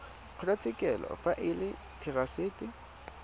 kgotlatshekelo fa e le therasete